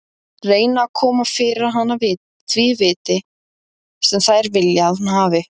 Reyna að koma fyrir hana því viti sem þær vilja að hún hafi.